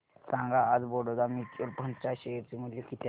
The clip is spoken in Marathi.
सांगा आज बडोदा म्यूचुअल फंड च्या शेअर चे मूल्य किती आहे